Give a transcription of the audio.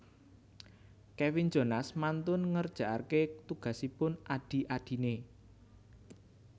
Kevin Jonas mantun ngerjaake tugasipun adhi adhine